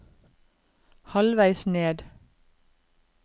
halvveis ned